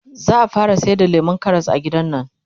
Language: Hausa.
zaa fara sayar da lemun Karas a gidannan